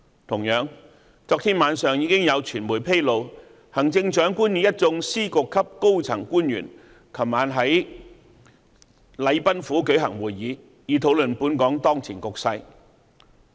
同樣，昨天晚上已有傳媒披露，行政長官與一眾司局級高層官員在禮賓府舉行會議，以討論本港當前局勢。